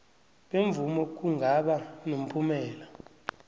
bemvumo kungaba nomphumela